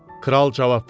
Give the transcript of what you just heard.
Kral cavab verdi: